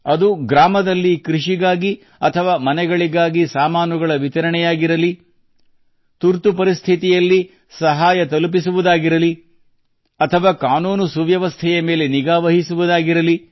ಅದು ಗ್ರಾಮದಲ್ಲಿ ಕೃಷಿಗಾಗಿ ಅಥವಾ ಮನೆಗಳಿಗಾಗಿ ಸಾಮಾನುಗಳ ವಿತರಣೆಯಾಗಿರಲಿ ತುರ್ತು ಪರಿಸ್ಥಿತಿಯಲ್ಲಿ ಸಹಾಯ ತಲುಪಿಸುವುದಿರಲಿ ಅಥವಾ ಕಾನೂನು ಸುವ್ಯವಸ್ಥೆಯ ಮೇಲೆ ನಿಗಾ ವಹಿಸುವುದಿರಲಿ